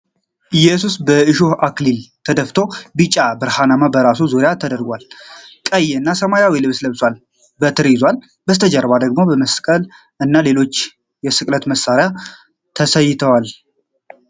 ኢየሱስ የእሾህ አክሊል ደፍቶ ቢጫ ብርሃን በራሱ ዙሪያ ተደርጓል ። ቀይ እና ሰማያዊ ልብስ ለብሷል፣ በትር ይዟል። ከበስተጀርባው ደግሞ መስቀል እና ሌሎች የስቅለት መሳሪያዎች ተስለዋል።